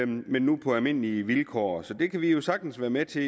men nu på almindelige vilkår så det kan vi vi sagtens være med til